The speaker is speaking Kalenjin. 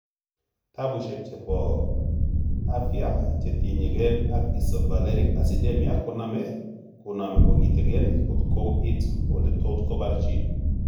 Tapushiek chepo afia chetinyegen ag Isovaleric acidemia koname kogiten kot koit ele tot koparchi